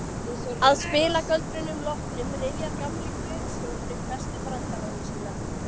Að spilagöldrunum loknum rifjar gamli gröfustjórinn upp bestu brandarana sína.